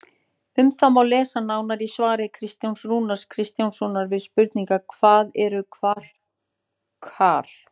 Um það má lesa nánar í svari Kristjáns Rúnars Kristjánssonar við spurningunni Hvað eru kvarkar?